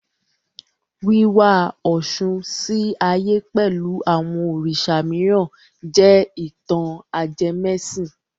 Wíwá Ọ̀ṣun sí ayé pẹ̀lú àwọn Òrìṣà mìíràn jẹ́ ìtàn ajẹmẹ́sìn.